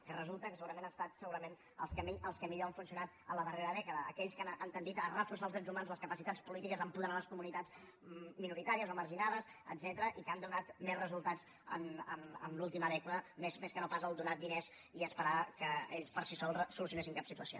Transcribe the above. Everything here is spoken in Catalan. que resulta que segurament han estat els que millor han funcionat a la darrera dècada aquells que han tendit a reforçar els drets humans les capacitats polítiques apoderar les comunitats minoritàries o marginades etcètera i que han donat més resultats en l’última dècada més que no pas donar diners i esperar que ells per si sols solucionessin cap situació